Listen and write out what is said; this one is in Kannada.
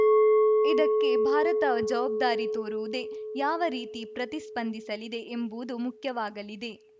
ಇದಕ್ಕೆ ಭಾರತ ಜವಾಬ್ದಾರಿ ತೋರುವುದೇ ಯಾವ ರೀತಿ ಪ್ರತಿಸ್ಪಂದಿಸಲಿದೆ ಎಂಬುವುದೂ ಮುಖ್ಯವಾಗಲಿದೆ